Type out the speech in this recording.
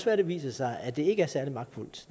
være det viser sig at det ikke er særlig magtfuldt